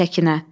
Səkinə.